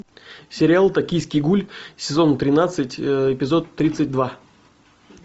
сериал токийский гуль сезон тринадцать эпизод тридцать два